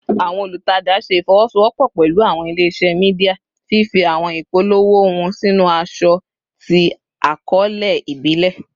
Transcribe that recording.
Awọn olutaja ṣe ifowosowopo pẹlu awọn ile-iṣẹ media, fifi awọn ipolowo hun sinu aṣọ ti akọọlẹ ibile